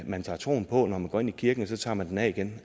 man tager troen på når man går ind i kirken og så tager man den af igen